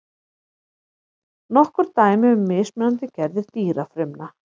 Nokkur dæmi um mismunandi gerðir dýrafrumna.